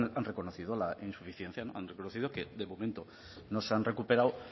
han reconocido la insuficiencia han reconocido que de momento no se han recuperado